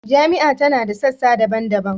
Jami’a ta da sassa daban-daban